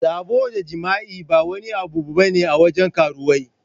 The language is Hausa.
Sabo da jima'i ba wani abu bane a wajen karuwai.